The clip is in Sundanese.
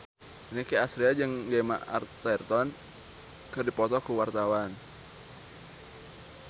Nicky Astria jeung Gemma Arterton keur dipoto ku wartawan